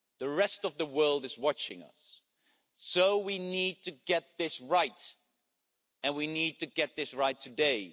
The rest of the world is watching us, so we need to get this right and we need to get this right today.